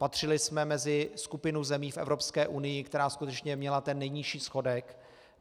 Patřili jsme mezi skupinu zemí v Evropské unii, která skutečně měla ten nejnižší schodek.